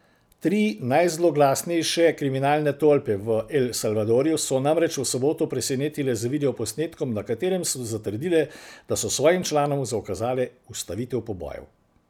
Tri najzloglasnejše kriminalne tolpe v El Salvadorju so namreč v soboto presenetile z videoposnetkom, na katerem so zatrdile, da so svojim članom zaukazale ustavitev pobojev.